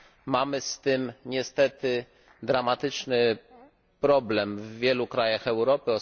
Mamy z tym niestety dramatyczny problem w wielu krajach Europy.